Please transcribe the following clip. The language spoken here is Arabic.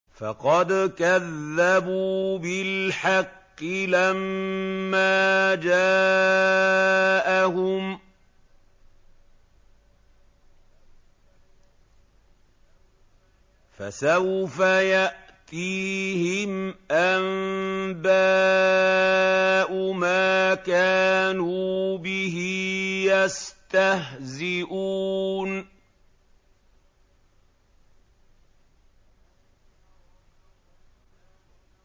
فَقَدْ كَذَّبُوا بِالْحَقِّ لَمَّا جَاءَهُمْ ۖ فَسَوْفَ يَأْتِيهِمْ أَنبَاءُ مَا كَانُوا بِهِ يَسْتَهْزِئُونَ